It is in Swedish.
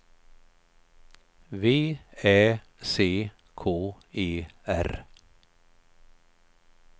V Ä C K E R